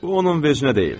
Bu onun vecnə deyil.